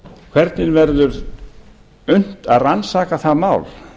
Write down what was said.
hvernig verður unnt að rannsaka það mál